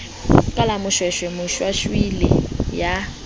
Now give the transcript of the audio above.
ka la moshweshwe moshwashwaila ya